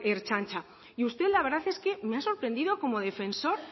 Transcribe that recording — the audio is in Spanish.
ertzaintza y usted la verdad es que me ha sorprendido como defensor